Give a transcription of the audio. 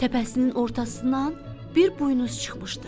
Təpəsinin ortasından bir buynuz çıxmışdı.